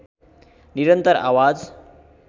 निरन्तर आवाज